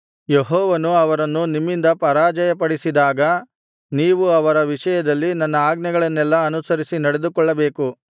ಯೆಹೋವನು ಅವರನ್ನು ನಿಮ್ಮಿಂದ ಪರಾಜಯಪಡಿಸಿದಾಗ ನೀವು ಅವರ ವಿಷಯದಲ್ಲಿ ನನ್ನ ಆಜ್ಞೆಗಳನ್ನೆಲ್ಲಾ ಅನುಸರಿಸಿ ನಡೆದುಕೊಳ್ಳಬೇಕು